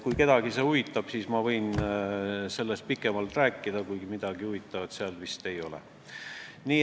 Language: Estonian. Kui kedagi huvitab, siis ma võin sellest pikemalt rääkida, kuid midagi huvitavat seal vist ei ole.